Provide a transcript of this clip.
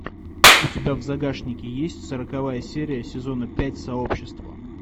у тебя в загашнике есть сороковая серия сезона пять сообщество